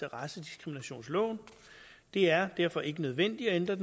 af racediskriminationsloven det er derfor ikke nødvendigt at ændre